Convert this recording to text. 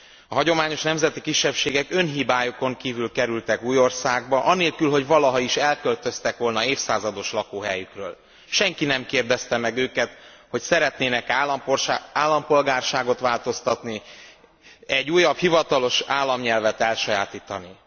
A hagyományos nemzeti kisebbségek önhibájukon kívül kerültek új országba, anélkül, hogy valaha is elköltöztek volna évszázados lakóhelyükről. Senki nem kérdezte meg őket, hogy szeretnének e állampolgárságot változtatni, egy újabb hivatalos államnyelvet elsajátítani.